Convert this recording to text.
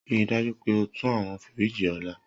Rii daju pe o tun awọn firiji ọla!